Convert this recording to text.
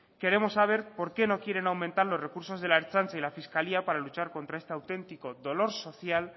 queremos saber por qué no quieren aumentar los recursos de la ertzaintza y la fiscalía para luchar contra este auténtico dolor social